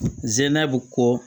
N zɛnna bi ko